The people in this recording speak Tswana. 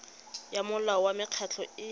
ya molao wa mekgatlho e